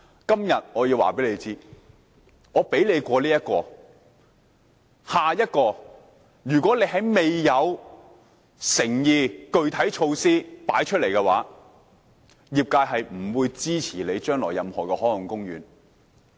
今天我要告訴政府，我讓你通過這個立法建議，但如果政府未有誠意和具體措施拿出來，將來業界是不會支持政府設立任何海岸公園的。